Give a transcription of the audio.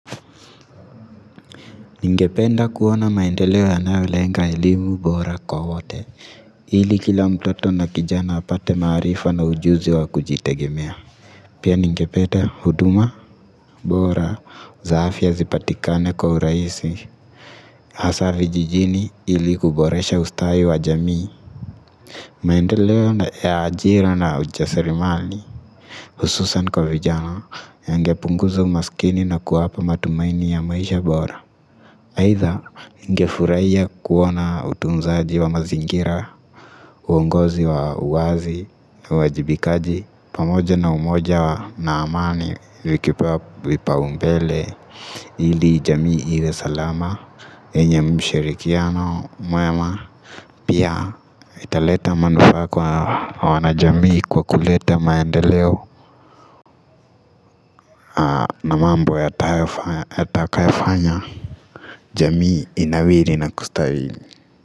Ningependa kuona maendeleo yanayolenga elimu bora kwa wote. Hili kila mtoto na kijana apate maarifa na ujuzi wa kujitegemea. Pia ningependa huduma bora za afya zipatikane kwa urahisi. Hasa vijijini ili kuboresha ustawi wa jamii. Maendeleo ya ajira na ujaserimali. Hususan kwa vijana yangepunguza umaskini na kuwapa matumaini ya maisha bora. Haidha ningefurahia kuona utunzaji wa mazingira, uongozi wa uwazi na uwajibikaji pamoja na umoja wa na amani vikipewa vipao mbele ili jamii iwe salama yenye mshirikiano mwema pia italeta manufaa kwa wanajamii kwa kuleta maendeleo na mambo yatakayofanya jamii inawiri na kustawili.